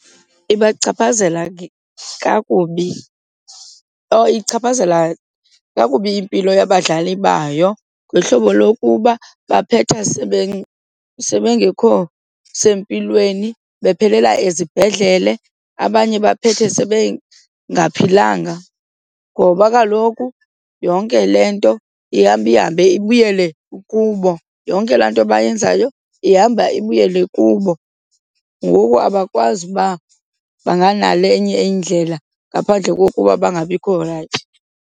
Ibachaphazela kakubi, oh ichaphazela kakubi impilo yabadlali bayo ngohlobo lokuba baphetha sebengekho sempilweni bephelela ezibhedlele, abanye baphethe sebengaphilanga ngoba kaloku yonke le nto ihamba ihambe ibuyele kubo, yonke laa nto bayenzayo ihamba ibuyele kubo. Ngoku abakwazi ukuba banganale enye indlela ngaphandle kokuba bangabikho rayithi.